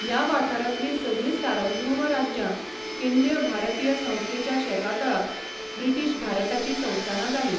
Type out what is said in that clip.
ह्या वाठारांतलीं सगळीं सार्वभौम राज्यां, केंद्रीय भारतीय संस्थेच्या शेकातळा, ब्रिटीश भारताचीं संस्थानां जालीं.